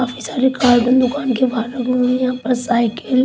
काफी सरे कार के दुकान के यहाँ पर साइकेल--